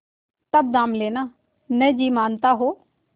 तब दाम लेना न जी मानता हो